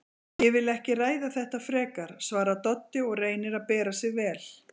Ég vil ekki ræða þetta frekar, svarar Doddi og reynir að bera sig vel.